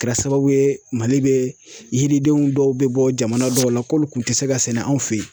Kɛra sababu ye Mali bɛ yiridenw dɔw bɛ bɔ jamana dɔw la kɔmi k'u tɛ se ka sɛnɛ anw fɛ ye.